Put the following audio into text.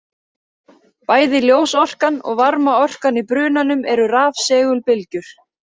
Bæði ljósorkan og varmaorkan í brunanum eru rafsegulbylgjur.